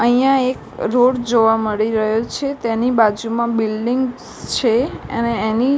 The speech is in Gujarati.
અહીંયા એક રોડ જોવા મળી રહ્યો છે તેની બાજુમાં બિલ્ડીંગ્સ છે અને એની--